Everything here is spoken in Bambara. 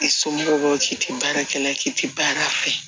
I somɔgɔw k'i tɛ baarakɛla k'i tɛ baara fɛ